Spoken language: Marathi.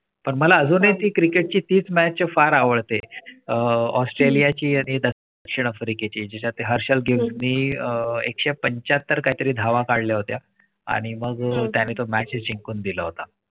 . पण मला अजूनही ती cricket तीच match चा फार आवडते आह ऑस्ट्रेलिया ची आहेत. दक्षिण अफ्रीका ची जीचात हर्षल मी आह एक से पंचात्तर काहीतरी धावा काढल्या होत्या आणि मग त्याने तो match जिंकून दिला होता.